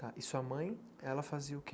Tá, e sua mãe, ela fazia o quê?